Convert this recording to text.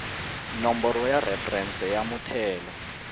nomboro ya referense ya muthelo